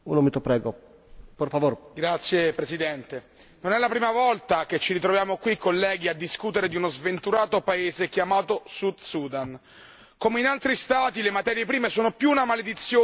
Signor Presidente, onorevoli colleghi, non è la prima volta che ci ritroviamo qui, colleghi, a discutere di uno sventurato paese chiamato Sud Sudan. Come in altri Stati, le materie prime sono più una maledizione che una risorsa.